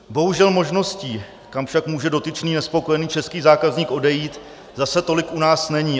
Bohužel možností, kam však může dotyčný nespokojený český zákazník odejít, zase tolik u nás není.